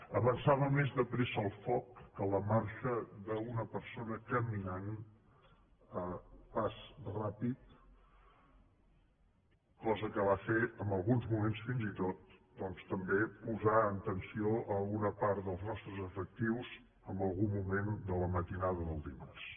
avançava més de pressa el foc que la marxa d’una persona caminant a pas ràpid cosa que va fer en alguns moments fins i tot doncs també posar en tensió una part dels nostres efectius en algun moment de la matinada del dimarts